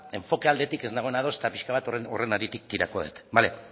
enfoke aldetik ez nagoena ados eta pixka bat horren haritik tiratuko dut bale